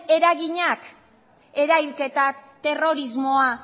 eraginak erahilketak terrorismoa